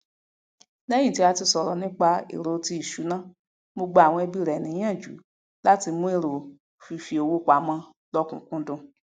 lẹyìn tí a sọrọ nípa èrò tí ìṣúná mo gba awon ẹbí rẹ níyànjú láti mú fífowópamọ lọkúńkúńdùn